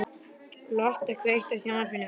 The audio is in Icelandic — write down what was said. Lotta, kveiktu á sjónvarpinu.